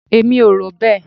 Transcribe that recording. Èmi ò rò bẹ́ẹ̀.